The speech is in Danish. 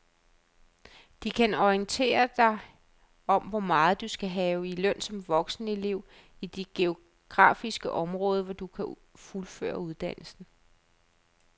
De kan orientere dig om hvor meget du skal have i løn som voksenelev i dit geografiske område, for at du kan fuldføre uddannelsen.